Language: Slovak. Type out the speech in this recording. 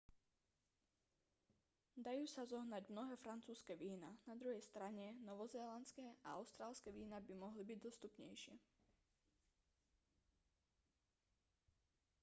dajú sa zohnať mnohé francúzske vína na druhej strane novozélandské a austrálske vína by mohli byť dostupnejšie